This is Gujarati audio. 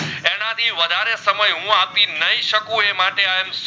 સમય હું આપી નઈ સકું એ માટે I am